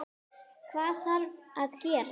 Hvað þarf að gerast?